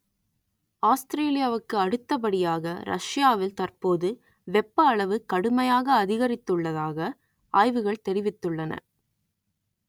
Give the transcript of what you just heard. ஆஸ்திரேலியாவுக்கு அடுத்த படியாக ரஷ்யாவில் தற்போது வெப்ப அளவு கடுமையாக அதிகரித்துள்ளதாக ஆய்வுகள் தெரிவித்துள்ளன